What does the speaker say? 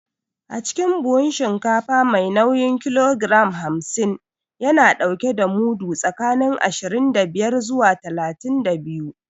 Acikin buhun shinkafa mai nauyin kilogiram hamsin, yana ɗauke da mudu tsakanin ashirin da biyar zuwa talatin da biyu.